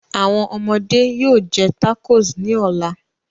Awọn ọmọde yoo jẹ tacos ni ọla